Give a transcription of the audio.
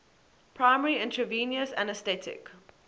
primary intravenous anesthetic